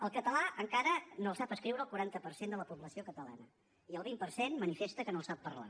el català encara no el sap escriure el quaranta per cent de la població catalana i el vint per cent manifesta que no el sap parlar